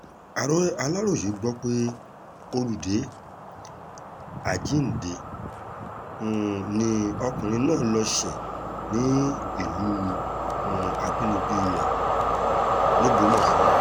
aláròye gbọ́ pé olùdé àjíǹde um ni ọkùnrin náà lọ́ọ́ ṣe ní ìlú um àbínibí rẹ̀ lọgbọ́mọso